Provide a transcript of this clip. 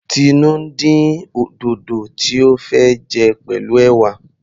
Tinu ń dín dòdò tí ó fẹ́ jẹ pẹ̀lú ẹ̀wà.